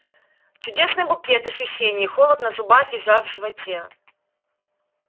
чудесный букет ощущений холод на зубах и жар в животе